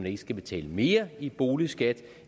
ikke skal betale mere i boligskat